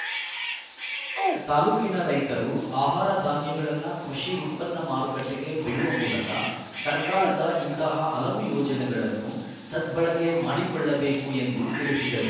ತಾಲೂಕಿನ ರೈತರು ಅಹಾರ ಧಾನ್ಯಗಳನ್ನು ಕೃಷಿ ಉತ್ಪನ್ನ ಮಾರುಕಟ್ಟೆಗೆ ಬಿಡುವ ಮೂಲಕ ಸರಕಾರದ ಇಂತಹ ಹಲವು ಯೋಜನೆಗಳನ್ನು ಸದ್ಬಳಕೆ ಮಾಡಿಕೊಳ್ಳಬೇಕು ಎಂದು ತಿಳಿಸಿದರು